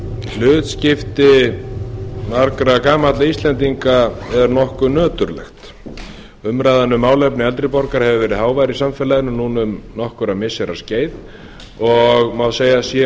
hlutskipti margra gamalla íslendinga er nokkuð nöturlegt umræðan um málefni eldri borgara hefur verið hávær í samfélaginu núna um nokkurra missira skeið og má segja að